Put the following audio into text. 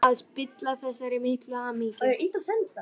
Vildi ekki fara að spilla þessari miklu hamingju.